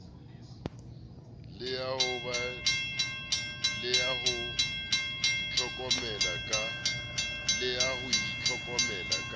le ya ho itlhokomela ka